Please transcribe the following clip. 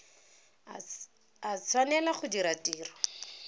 a tshwanela go dira tiro